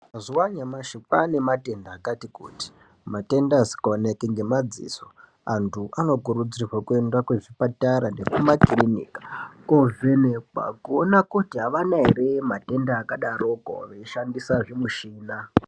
Mazuwa anyamashi kwaane matenda akati kuti, matenda asikaoneki ngemadziso. Antu anokurudzirwe kuenda kuzvipatara, nekumakirinika kovhekwa, kuona kuti avana ere matenda akadaroko ,veishandisa zvimushina.